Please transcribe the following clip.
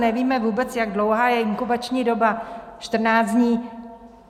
Nevíme vůbec, jak dlouhá je inkubační doba - 14 dní.